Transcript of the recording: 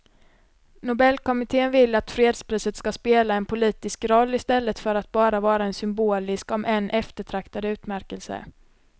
Nobelkommittén vill att fredspriset ska spela en politisk roll i stället för att bara vara en symbolisk om än eftertraktad utmärkelse.